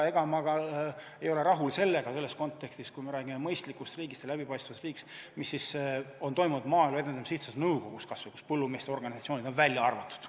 Ma ei ole rahul selles kontekstis, kui me räägime mõistlikust ja läbipaistvast riigist, sellega, mis on toimunud kas või Maaelu Edendamise Sihtasutuse nõukogus, kust põllumeeste organisatsioonid on välja arvatud.